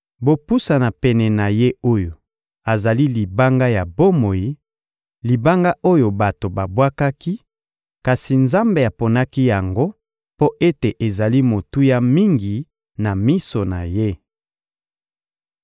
Bopusana pene ya Ye oyo azali Libanga ya bomoi, Libanga oyo bato babwakaki, kasi Nzambe aponaki yango mpo ete ezali motuya mingi na miso na Ye.